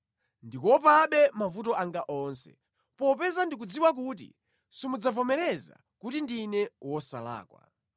ndikuopabe mavuto anga onse, popeza ndikudziwa kuti simudzavomereza kuti ndine wosalakwa.